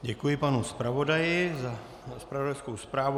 Děkuji panu zpravodaji za zpravodajskou zprávu.